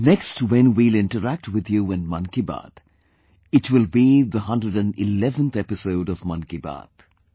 Next when we will interact with you in 'Mann Ki Baat', it will be the 111th episode of 'Mann Ki Baat'